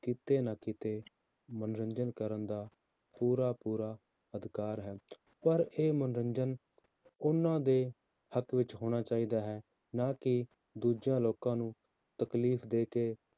ਕਿਤੇ ਨਾ ਕਿਤੇ ਮਨੋਰੰਜਨ ਕਰਨ ਦਾ ਪੂਰਾ ਪੂਰਾ ਅਧਿਕਾਰ ਹੈ, ਪਰ ਇਹ ਮਨੋਰੰਜਨ ਉਹਨਾਂ ਦੇ ਹੱਕ ਵਿੱਚ ਹੋਣਾ ਚਾਹੀਦਾ ਹੈ, ਨਾ ਕਿ ਦੂਜਿਆਂ ਲੋਕਾਂ ਨੂੰ ਤਕਲੀਫ਼ ਦੇ ਕੇ